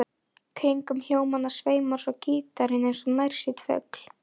Kringum hljómana sveimar svo gítarinn eins og nærsýnn fugl.